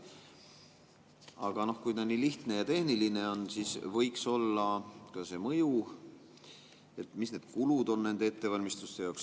Aga kui ta nii lihtne ja tehniline on, siis võiks olla ka mõju, et mis on need kulud ettevalmistuste jaoks.